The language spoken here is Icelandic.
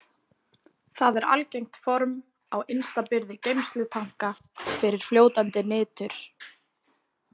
Það er algengt form á innsta byrði geymslutanka fyrir fljótandi nitur.